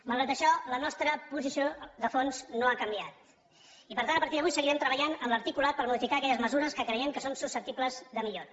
malgrat això la nostra posició de fons no ha canviat i per tant a partir d’avui seguirem treballant en l’articulat per modificar aquelles mesures que creiem que són susceptibles de millora